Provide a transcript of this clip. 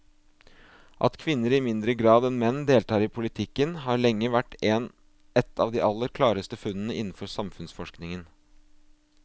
At kvinner i mindre grad enn menn deltar i politikken har lenge vært et av de aller klareste funnene innenfor samfunnsforskningen.